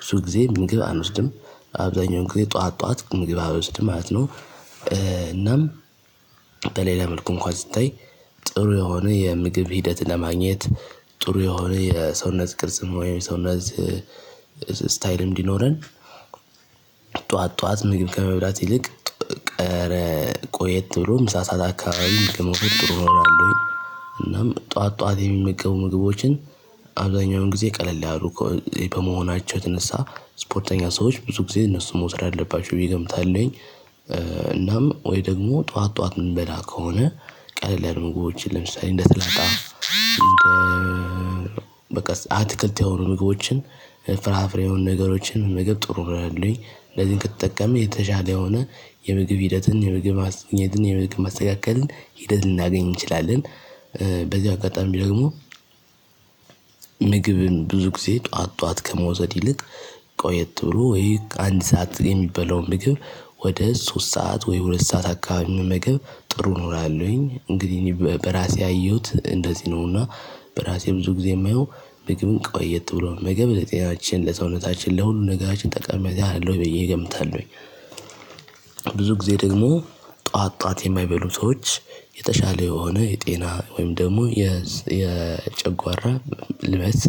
ብዙ ጊዜ ምንግብ አንወስድም። አብዛኛው እንግዲህ ጠዋት ጠዋት ግብ አልውስድም ማለት ነው። እናም በሌላ መልኩ እንኳን ሲታይ ጥሩ የሆነ የምግብ ሂደት ለማግኘት ጥሩ የሆነ የሰውነት ቅርጽ ወይም የሰውነት ስታይል እንዲኖረን። ጠዋት ጠዋት ምግብ ከመብላት ይልቅ ቀረ ቆየት ብሎ ምሳ ሰዓት አካባቢ ምግብ መውሰድ ጥሩ ነው እላለሁኝ። እናም ጠዋት ጠዋት የሚመገቡ ምግቦችን አብዛኛውን ጊዜ ቀለል ያሉ ከመሆናቸው የተነሳ ስፖርተኛ ሰዎች ብዙ ጊዜ እነሱ መውሰድ አለባቸው ብዬ ገምታለሁኝ። እናም ወይ ደግሞ ጠዋት ጠዋት የምንበላ ከሆነ ቀለለ ምግቦችን ለምሳሌ እንደ ስላጣ በቃ አትክልት የሆኑ ምግቦችን ፍራፍሬ የሆኑ ነገሮችን ምግብ ጥሩ ነው ይሆነልኝ። እንደዚህ ከተጠቀመን የተሻለ የሆነ የምግብ ሂደትን የምግብ ማስተካከልን ሂደት ልናገኝ እንችላለን። በዚው አጋጣሚ ደግሞ። ምግብን ብዙ ጊዜ ጠዋት ጠዋት ከመውሰድ ይልቅ ቆየት ብሎ ወይ አንድ ሰዓት የሚበላውን ምግብ ወደ ሶስት ሰዓት ወይ ሁለት ሰዓት አካባቢ መመገብ ጥሩ ነው እላለሁኝ። እንግዲህ እኔ በራሴ ያየሁት እንደዚህ ነውና በራሴ ብዙ ጊዜ የማየው ምግብን ቆየት ብሎ መመገብ ለጤናችን ለሰውነታችን ለሁሉም ነገራችን ጠቃሚታ አለው ብዬ እገምታለሁኝ። ጊዜ ደግሞ ጠዋት ጠዋት የማይበሉ ሰዎች የተሻለ የሆነ የጤና ወይም ደግሞ የጨጓራ ልበት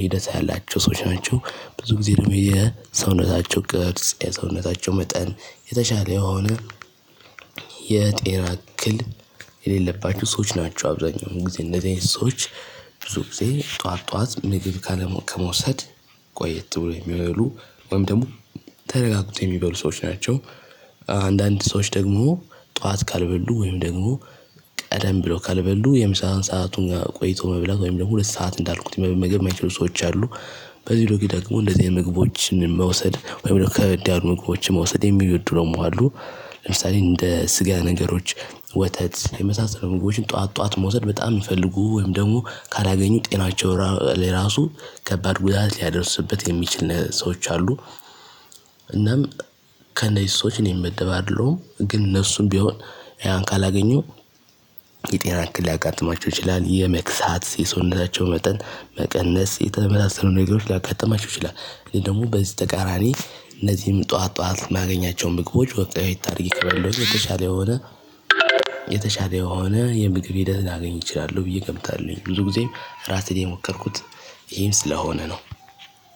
ሂደት ያላቸው ሰዎች ናቸው። ብዙ ጊዜ ደግሞ የሰውነታቸው ቅርጽ የሰውነታቸው መጠን የተሻለ የሆነ የጤና እክል የሌለባቸው ሰዎች ናቸው አብዛኛው ጊዜ እንደዚህ አይነት ሰዎች። ብዙ ጊዜ ጠዋት ጠዋት ምግብ ካለመውሰድ ቆየት ብሎ የሚያበሉ ወይም ደግሞ ተረጋግተው የሚበሉ ሰዎች ናቸው። አንዳንድ ሰዎች ደግሞ ጠዋት ካልበሉ ወይም ደግሞ ቀደም ብለው ካልበሉ የምሳ ሰአቱን ጋር ቆይቶ መብላት ወይም ደግሞ ሁለት ሰዓት እንዳልኩት መመገብ የማይችሉ ሰዎች አሉ። በዚህ ደግሞ እንደዚህ አይነት ምግቦችን መውሰድ ወይም ደግሞ ከበድ ምግቦች መውሰድ የሚወዱ ደግሞ መዋሉ ለምሳሌ እንደ ስጋ ነገሮች ወተት የመሳሰሉ ምግቦችን ጠዋት ጠዋት መውሰድ በጣም የሚፈልጉ ወይም ደግሞ ካላገኙ ጤናቸው ለራሱ ከባድ ጉዳት ሊያደርስበት የሚችል ሰዎች አሉ። እናም ከነዚህ ሰዎች እኔ ምመደብ አይደለሁም ግን እነሱም ቢሆን ያን ካላገኙ የጤና እክል ሊያጋጥማችው ይችላል የመክሳት የሰውነታቸው መጠን መቀነስ የተመሳሰሉ ነገሮች ሊያጋጥማችሁ ይችላል። እኔ ደግሞ በዚህ ተቃራኒ እነዚህም ጠዋት ጠዋት የማገኛቸው ምግቦች ወጥታ አድርጌ ከበላሁት የተሻለ የሆነ የተሻለ የሆነ የምግብ ሂደት ላገኝ እችላለሁ ብዬ እገምታለሁኝ። ብዙ ጊዜም ራሴን የሞከርኩት ይሄን ስለሆነ ነው።